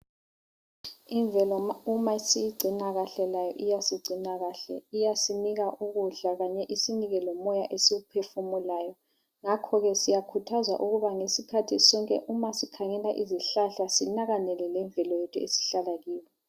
Imvelo uma siyigcina kahle layo iyasigcina kahle. Iyasinika ukudla, kanye lomoya esiwuphefumulayo. Ngakho ke siyakhuthazwa isikhathi sonke ukuthi uma sikhangela isihlahla sinakekele lemvelo yethu esihlala kuyo.